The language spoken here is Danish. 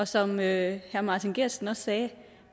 som herre martin geertsen også sagde